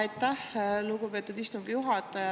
Aitäh, lugupeetud istungi juhataja!